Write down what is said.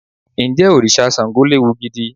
Ǹjẹ́ òrìṣà Ṣàngó léwu gidi?